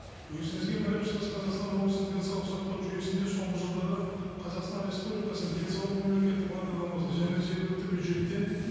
өзіңізге мәлім шығыс қазақстан облысының денсаулық сақтау жүйесінде соңғы жылдары қазақстан республикасының денсаулық мемлекеттік бағдарламасы және жергілікті бюджеттен